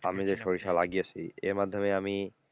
আমি যে সরিষা লাগিয়েছি এই মাধ্যমে আমি,